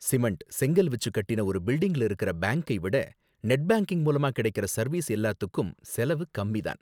Cement, செங்கல் வச்சு கட்டுன ஒரு பில்டிங்ல இருக்குற பேங்க்கை விட நெட் பேங்கிங் மூலமா கிடைக்குற சர்வீஸ் எல்லாத்துக்கும் செலவு கம்மி தான்.